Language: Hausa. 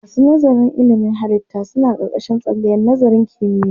Masu nazarin ilimin halittu suna ƙarƙashin tsangayar nazarin kimiyya.